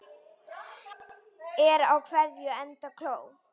Er á keðju enda kló.